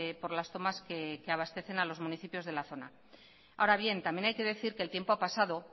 por las tomas que abastecen a los municipios de la zona ahora bien también hay que decir que el tiempo ha pasado